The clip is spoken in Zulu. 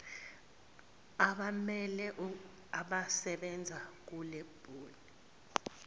abammele abasebenza kulemboni